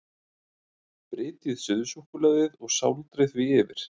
Brytjið suðusúkkulaðið og sáldrið því yfir.